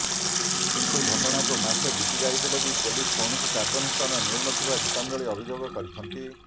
କିନ୍ତୁ ଘଟଣାକୁ ମାସେ ବିତିଯାଇଥିଲେ ବି ପୁଲିସ କୌଣସି କାର୍ଯ୍ୟାନୁଷ୍ଠାନ ନେଉନଥିବା ଗୀତାଞ୍ଜଳି ଅଭିଯୋଗ କରିଛନ୍ତି